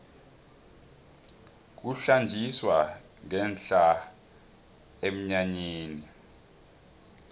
kuhlanjiswa ngenhla emnyanyeni